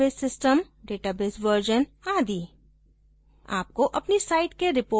हमारा database system database version आदि